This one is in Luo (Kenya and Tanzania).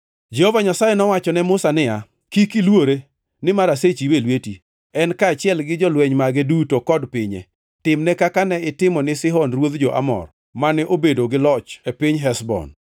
Jehova Nyasaye nowacho ne Musa niya, “Kik iluore, nimar asechiwe e lweti, en kaachiel gi jolweny mage duto kod pinye. Timne kaka ne itimone Sihon ruodh jo-Amor, mane obedo gi loch e piny Heshbon.”